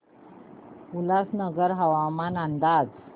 उल्हासनगर हवामान अंदाज